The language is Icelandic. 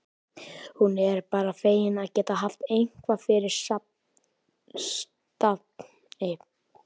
Hún er bara fegin að geta haft eitthvað fyrir stafni.